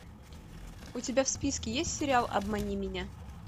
у тебя в списке есть сериал обмани меня